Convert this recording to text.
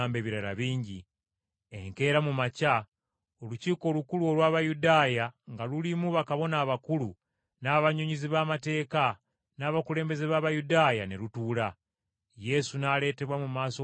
Enkeera mu makya Olukiiko Olukulu olw’Abayudaaya, nga lulimu bakabona abakulu, n’abannyonnyozi b’amateeka, n’abakulembeze b’Abayudaaya, ne lutuula. Yesu n’aleetebwa mu maaso g’Olukiiko olwo.